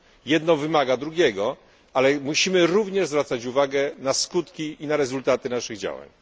Jedno wymaga drugiego, ale musimy również zwracać uwagę na skutki i na rezultaty naszych działań.